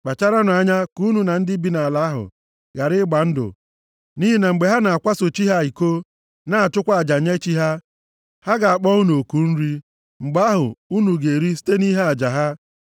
“Kpacharanụ anya ka unu na ndị bi nʼala ahụ ghara ịgba ndụ, nʼihi na mgbe ha na-akwaso chi ha iko, na-achụkwa aja nye chi ha, ha ga-akpọ unu oku nri, mgbe ahụ, unu ga-eri site nʼihe aja ha.